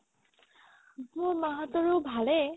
মোৰ মা হতৰো ভালে